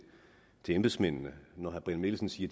embedsmændene synes når herre brian mikkelsen siger